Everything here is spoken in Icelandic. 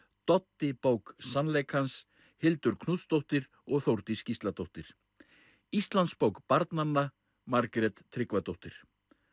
Doddi bók sannleikans Hildur Knútsdóttir og Þórdís Gísladóttir Íslandsbók barnanna Margrét Tryggvadóttir